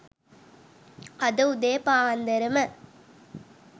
අද උදේ පාන්දරම